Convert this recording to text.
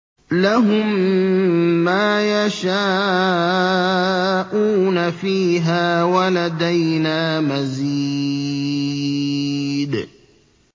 لَهُم مَّا يَشَاءُونَ فِيهَا وَلَدَيْنَا مَزِيدٌ